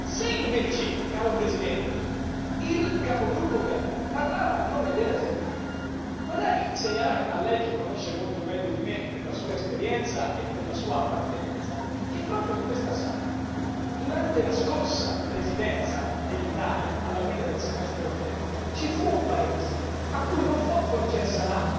Se invece, caro Presidente, il capogruppo Weber parlava a nome della Germania, vorrei segnalare a lei, che conosce molto meglio di me, per la sua esperienza e per la sua appartenenza, che proprio in questa sala, durante la scorsa presidenza dell'Italia alla guida del Semestre europeo, ci fu un Paese a cui non fu concessa la